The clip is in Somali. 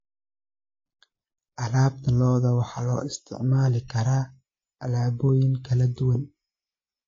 Alaabta lo'da waxaa loo isticmaali karaa alaabooyin kala duwan.